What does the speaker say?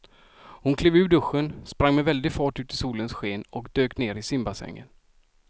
Hon klev ur duschen, sprang med väldig fart ut i solens sken och dök ner i simbassängen.